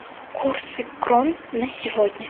курсы крон на сегодня